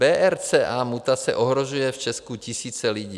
BRCA mutace ohrožuje v Česku tisíce lidí.